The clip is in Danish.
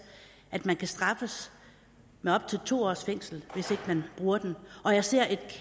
at man kan straffes med op til to års fængsel hvis ikke man bruger den og jeg ser et